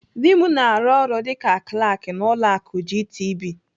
Dị m na-arụ ọrụ dịka Klak n'ụlọ akụ GTB.